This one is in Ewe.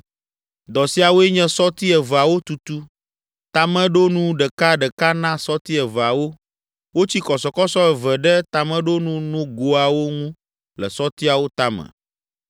Dɔ siawoe nye sɔti eveawo tutu; tameɖonu ɖeka ɖeka na sɔti eveawo; wotsi kɔsɔkɔsɔ eve ɖe tameɖonu nogoawo ŋu le sɔtiawo tame,